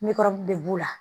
Ne kɔrɔmuso de b'u la